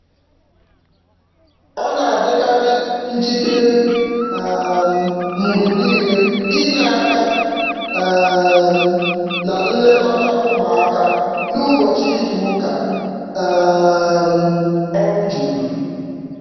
Ọ na-adịkarị njikere um mgbe niile inye aka um na nlekọta ụmụaka n'ụbọchị izuụka um ọrụ juru.